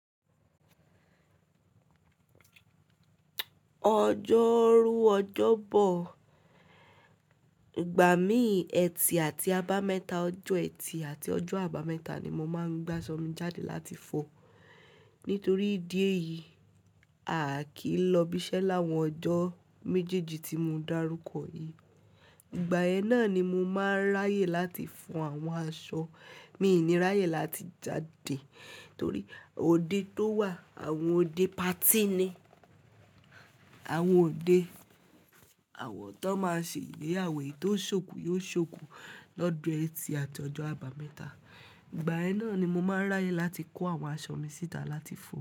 Ọjọ́rú ọjọ́bọ̀, ìgbà mí ètì àti àbámẹ́ta, ọjọ́ ètì àti ọjọ́ àbámẹ́ta ni mo máa ń gbaṣọmi jáde láti fọ. Nítorí ìdí ẹ̀ yìí, a kì í lọ ibiṣẹ́ láwọn ọjọ́ méjèèjì tí mo darúkọ yìí. Ìgbà ẹ náà ni mo máa ráyè láti fọ àwọn aṣọ. Mí ì ní ráyè láti jáde torí òde tó wà, àwọn òde patí ni. Àwọn òde àwọ̀ tó máa ń ṣe igbé-ìyàwo tó ṣòkú yóò ṣòkú lọjọ́ ẹtì àti ọjọ́ àbámẹ́ta. Ìgbà ẹ náà ni mo máa ráyè láti kó àwọn aṣọ mi síta láti fọ.